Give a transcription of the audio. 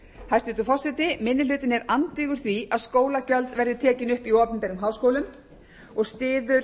hæstvirtur forseti minni hlutinn er andvígur því að skólagjöld verði tekin upp í opinberum háskólum og styður